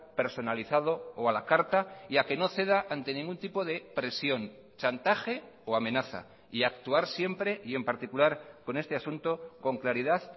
personalizado o a la carta y a que no ceda ante ningún tipo de presión chantaje o amenaza y actuar siempre y en particular con este asunto con claridad